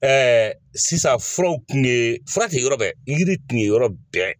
sisan furaw kun ye fura tɛ yɔrɔ bɛɛ yiri tun ye yɔrɔ bɛɛ.